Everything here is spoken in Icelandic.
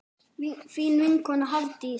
Þín vinkona Hafdís.